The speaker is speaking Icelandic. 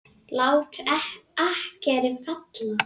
Lát akkeri falla.